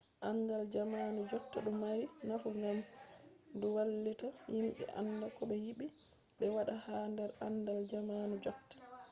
andal jamanu jotta du mari nafu gam du vallita himbe anda kobe yide be wada ha der andal jamanu jotta